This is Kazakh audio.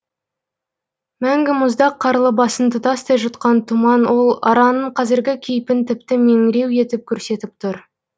мәңгі мұздақ қарлы басын тұтастай жұтқан тұман ол араның қазіргі кейпін тіпті меңіреу етіп көрсетіп тұр